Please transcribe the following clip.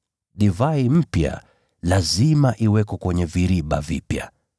Divai mpya lazima iwekwe kwenye viriba vipya.